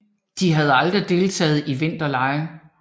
De har aldrig deltaget i vinterlege